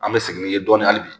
An bɛ segin n'i ye dɔɔnin hali bi